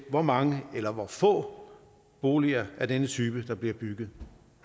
hvor mange eller hvor få boliger af denne type der bliver bygget